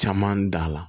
Caman dala